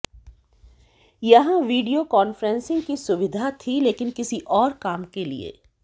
यहां video conferencing की सुविधा थी लेकिन किसी और काम के लिए